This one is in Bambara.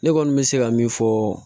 Ne kɔni bɛ se ka min fɔ